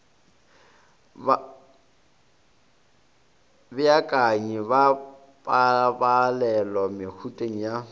babeakanyi ba pabalelo mehuteng ya